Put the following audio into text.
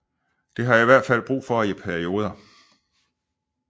Det har jeg i hvert fald brug for i perioder